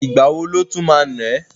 Ìgbà wo ló tún ma ná ẹ́?